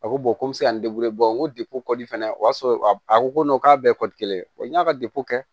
A ko ko n be se ka n depi kɔdi fɛnɛ o y'a sɔrɔ a ko ko k'a bɛ kelen ye n y'a ka kɛ